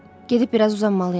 Gedib biraz uzanmalıyam.